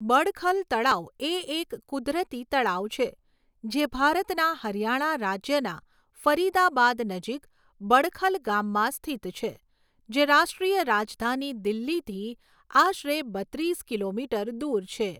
બડખલ તળાવ એ એક કુદરતી તળાવ છે, જે ભારતના હરિયાણા રાજ્યના ફરિદાબાદ નજીક બડખલ ગામમાં સ્થિત છે, જે રાષ્ટ્રીય રાજધાની દિલ્હીથી આશરે બત્રીસ કિલોમીટર દૂર છે.